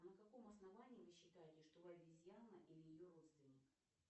на каком основании вы считаете что вы обезьяна или ее родственник